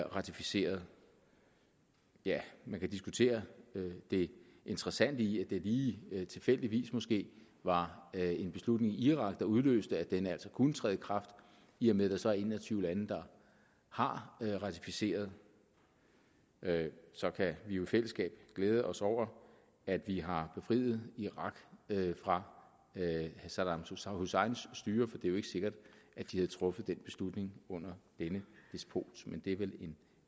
ratificeret endnu man kan diskutere det interessante i at det lige tilfældigvis måske var en beslutning i irak der udløste at den altså kunne træde i kraft i og med at der så er en og tyve lande der har ratificeret så kan vi jo i fællesskab glæde os over at vi har befriet irak fra saddam husseins styre for det er jo ikke sikkert at de havde truffet den beslutning under denne despot men det er vel en